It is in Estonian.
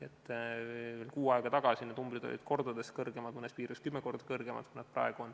Kuu aega tagasi olid arvud kordades kõrgemad, mõnes piirkonnas kümme korda kõrgemad, kui nad praegu on.